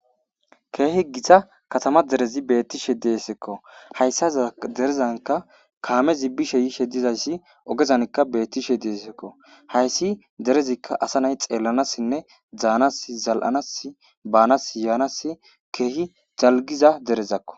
keehi gita katama derezi beettishe deesekko hayssa derezanka kaamezibbishe yiishe dizayssi ogezanka beettishe deesekko hayssi derezikka asa nay xeellanassinne zaanas zal7anas baanas yaanas keehi zalgiza derezakko